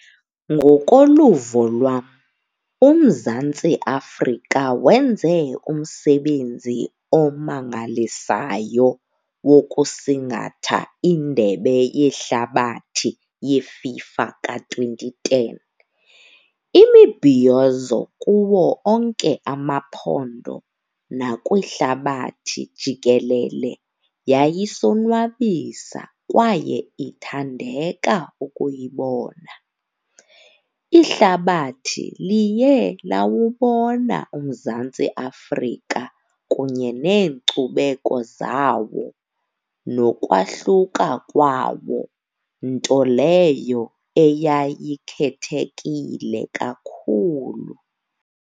Ngokoluvo lwam uMzantsi Afrika wenze umsebenzi omangalisayo wokusingatha indebe yehlabathi yeFIFA ka-twenty ten. Imibhiyozo kuwo onke amaphondo nakwihlabathi jikelele yayisonwabisa kwaye ithandeka ukuyibona. Ihlabathi liye lawububona uMzantsi Afrika kunye neenkcubeko zawo nokwahluka kwawo, nto leyo eyayikhethekile kakhulu.